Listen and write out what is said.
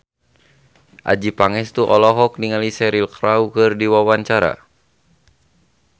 Adjie Pangestu olohok ningali Cheryl Crow keur diwawancara